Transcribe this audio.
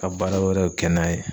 Ka baara wɛrɛw kɛ n'a ye